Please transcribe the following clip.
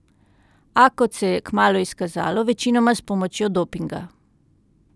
A, kot se je kmalu izkazalo, večinoma s pomočjo dopinga.